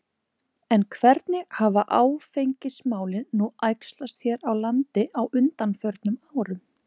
En hvernig hafa áfengismálin nú æxlast hér á landi á undanförnum árum?